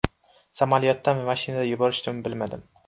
Samolyotdami, mashinada yuborishdimi bilmadim.